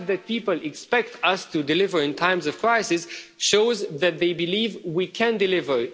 The fact that people expect us to deliver in times of crisis, shows that they believe we can deliver.